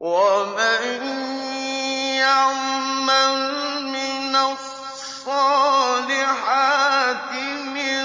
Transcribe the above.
وَمَن يَعْمَلْ مِنَ الصَّالِحَاتِ مِن